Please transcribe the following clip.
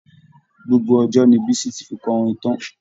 Gbogbo ọjọ́ ni Bisi ti fi kọrin tán'